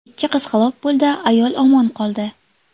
Ikki qiz halok bo‘ldi, ayol omon qoldi.